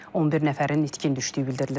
11 nəfərin itkin düşdüyü bildirilir.